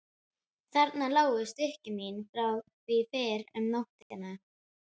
Þarna lágu stykki mín frá því fyrr um nóttina.